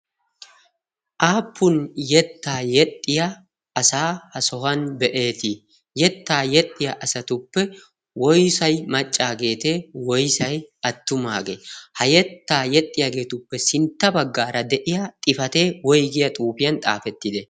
Aappun yettaa yexxiya asaa ha sohuwan be7eetii? yettaa yexxiya asatuppe woyssay maccaageete? woyssay attumaagee? ha yettaa yexxiyaageetuppe sintta baggaara de7iya xifatee woyggiya xuufiyan xaafettide?